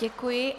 Děkuji.